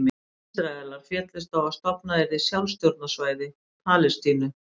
Ísraelar féllust á að stofnað yrði sjálfstjórnarsvæði Palestínu.